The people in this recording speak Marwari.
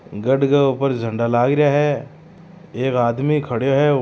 गढ़ के ऊपर झण्डा लाग रहा है एक आदमी खड़ों है।